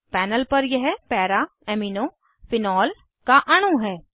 panel पर यह para amino phenol का अणु है